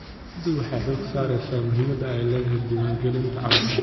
Dawladdu waxay xooga saaraysaa muhiimada ay leedahay diwaan galinta caruurta.